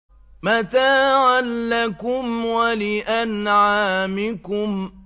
مَتَاعًا لَّكُمْ وَلِأَنْعَامِكُمْ